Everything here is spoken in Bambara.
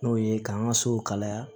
N'o ye k'an ka so kalaya